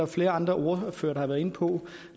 flere andre ordførere der har været inde på